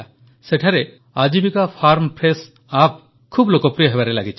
ସେଠାରେ Aajeevika farm fresh app ବହୁତ ଲୋକପ୍ରିୟ ହେବାରେ ଲାଗିଛି